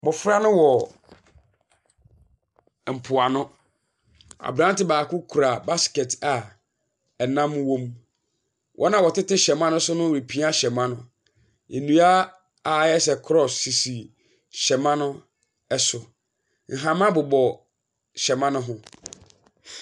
Mmɔfra no wɔ mpoano. Abranteɛ baako kura basket a ɛnam wɔ mu. Wɔn a ɔtete hyɛma no so no repia hyɛma no. nnua ayɛ sɛ cross sisi hyɛma no so. Nhama bobɔ hyɛma no ho.